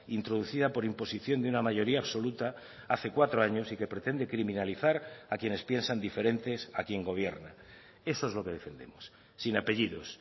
introducida por imposición de una mayoría absoluta hace cuatro años y que pretende criminalizar a quienes piensan diferentes a quien gobierna eso es lo que defendemos sin apellidos